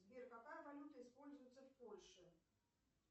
сбер какая валюта используется в польше